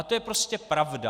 A to je prostě pravda.